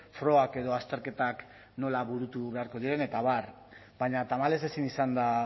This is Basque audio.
frogak edo azterketak nola burutu beharko diren eta abar baina tamalez ezin izan da